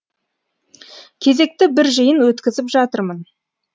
кезекті бір жиын өткізіп жатырмын